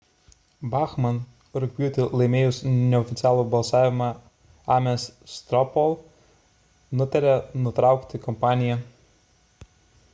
bachmann rugpjūtį laimėjusi neoficialų balsavimą ames straw poll nutarė nutraukti kampaniją